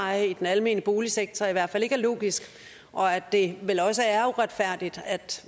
er i den almene boligsektor i hvert fald ikke er logisk og at det vel også er uretfærdigt at